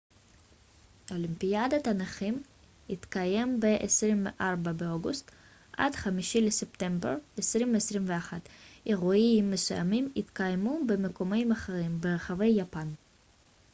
אולימפיאדת הנכים תתקיים ב-24 באוגוסט עד 5 בספטמבר 2021 אירועים מסוימים יתקיימו במיקומים אחרים ברחבי יפן